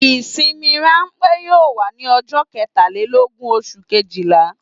Ìsinmi ránpẹ́ yóò wà ní ọjọ́ ketàlélógún oṣù kejìlá